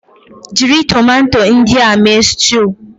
Jiri tomato ndị a mee stew